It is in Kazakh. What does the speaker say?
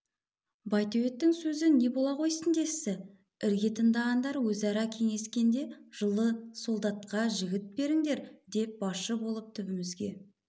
байтөбеттің сөзі не бола қойсын десті ірге тыңдағандар өзара кеңескенде жылы солдатқа жігіт беріңдер деп басшы болып түбімізге